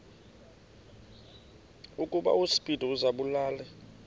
ukuba uspido azibulale